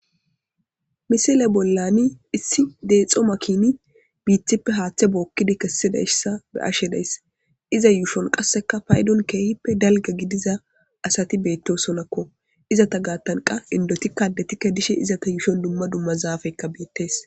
Misile bollani issi deexxo makini biithippe haaththe bookkida kessidayssa be'ashe days. Iza yuushon qasseka paydon keehippe dalga gidiza asati beettosonakko. Izeta gaattan qa indotikka addetikke dishe izeta yuushon dumma dumma zaafeykka beettes.